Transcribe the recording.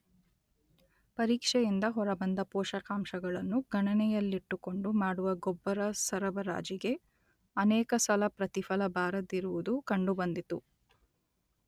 ಪರೀಕ್ಷೆಯಿಂದ ಹೊರಬಂದ ಪೋಷಕಾಂಶಗಳನ್ನು ಗಣನೆಯಲ್ಲಿಟ್ಟುಕೊಂಡು ಮಾಡುವ ಗೊಬ್ಬರಸರಬರಾಜಿಗೆ ಅನೇಕ ಸಲ ಪ್ರತಿಫಲ ಬಾರದಿರುವುದು ಕಂಡು ಬಂದಿತು.